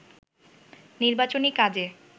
নির্বাচনী কাজে